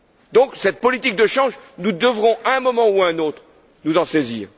Donc, cette politique de change, nous devrons à un moment ou à un autre nous en saisir.